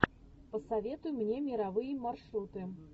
посоветуй мне мировые маршруты